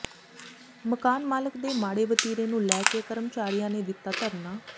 ਮਕਾਨ ਮਾਲਕ ਦੇ ਮਾੜੇ ਵਤੀਰੇ ਨੂੰ ਲੈ ਕੇ ਕਰਮਚਾਰੀਆਂ ਨੇ ਦਿੱਤਾ ਧਰਨਾ